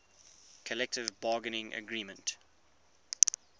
collective bargaining agreement